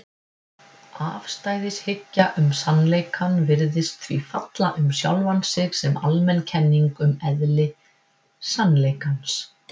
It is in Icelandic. Afstæðishyggja um sannleikann virðist því falla um sjálfa sig sem almenn kenning um eðli sannleikans.